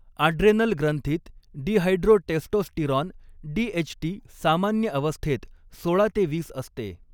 Adrenal ग्रंथीत dihydrotestosterone DHT सामान्य अवस्थेत सोळा ते वीस असते.